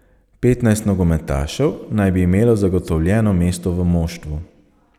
Petnajst nogometašev naj bi imelo zagotovljeno mesto v moštvu.